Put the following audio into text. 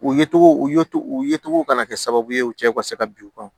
U ye cogo u ye u ye cogo ka na kɛ sababu ye u cɛw ka se ka bin u kan